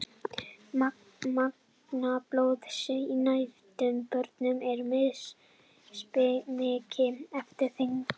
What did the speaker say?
magn blóðs í nýfæddum börnum er mismikið eftir þyngd